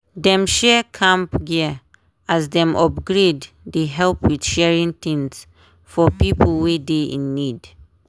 dem share camp gear as dem upgrade dey help with sharing things for pipo wey dey in need.